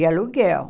De aluguel.